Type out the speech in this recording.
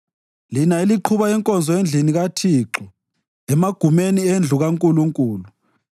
lina eliqhuba inkonzo endlini kaThixo, emagumeni endlu kaNkulunkulu.